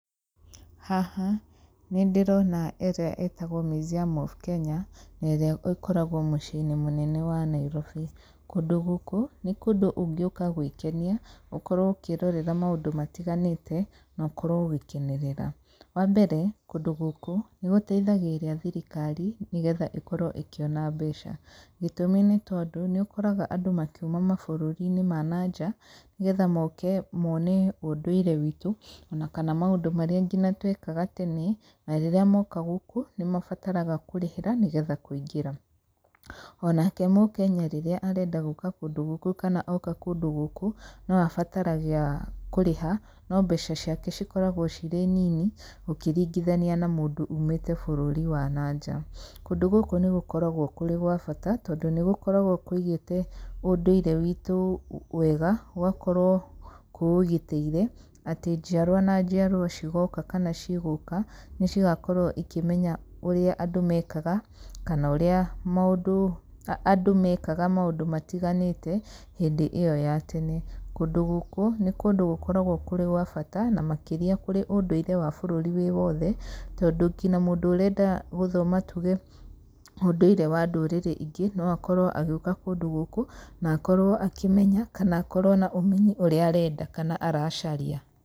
Haha nĩ ndĩrona ĩrĩa ĩtagwo Museum of Kenya, na ĩrĩa ĩkoragwo mũciĩ-inĩ mũnene wa Nairobi, kũndũ gũkũ nĩ kũndũ ũngĩũka gwĩkenia, ũkorwo ũkĩrorera maũndũ matiganĩte, nokorwo ũgĩkenerera, wambere, kũndũ gũkũ nĩ gũteithagĩrĩria thirikari, nĩgetha ĩkorwo ĩkĩona mbeca, gĩtũmi nĩ tondũ nĩ ũkoraga andũ makiuma mabũrũri ma nanja, nĩgetha mike mone ũndũire witũ, ona kana mũndũ marĩa nginya twekaga tene, na rĩrĩa moka gũkũ nĩ mabataraga kũrĩhĩra nĩgetha kũingĩra, onake mũkenya rĩrĩa arenda gũka kũndũ gũkũ kana oka kũndũ gũkũ, no abataraga kũrĩha, no mbeca ciake cikoragwo cirĩ nini, ũkĩringithania na mũndũ umĩte bũrũri wa nanja, kũndũ gũkũ nĩ gũkoragwo kũrĩ gwa bata, tondũ nĩ gũkoragwo kũigĩte ũndũire witũ wega, gũgakorwo kũũgitĩire atĩ njiarwa na njiarwa cigoka kana cigũka, nĩ cigakorwo ikĩmenya ũrĩa andũ mekaga, kana ũrĩa mũndũ andũ mekaga maũndũ matiganĩte hĩndĩ ĩyo ya tene. Kũndũ gũkũ nĩ kũndũ gũkoragwo kũrĩ gwa bata na makĩria kũrĩ ũndũire wa bũrũri wĩ wothe tondũ nginya mũndũ ũrenda gũthoma tuge ũndũire wa ndũrĩrĩ ingĩ no akorwo agĩũka kũndũ gũkũ, na akorwo akĩmenya kana akorwo na ũmenyi ũrĩa arenda kana aracaria.